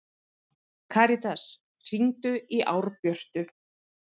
Karitas, hringdu í Árbjörtu.